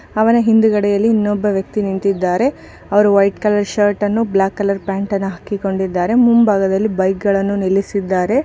ಅವನ ಹಿಂದುಗಡೆಯಲ್ಲಿ ಇನ್ನೊಬ್ಬ ನಿಂತಿದ್ದಾರೆ ಅವರು ವೈಟ್ ಕಲರ್ ಷರ್ಟ್ಅನ್ನು ಬ್ಲಾಕ್ ಕಲರ್ ಪ್ಯಾಂಟ್ ಅನ್ನು ಹಾಕಿಕೊಂಡಿದ್ದಾರೆ ಮುಂಬಾಗದಲ್ಲಿ ಬೈಕ್ ಗಳನ್ನು ನಿಲ್ಲಿಸಿದ್ದಾರೆ.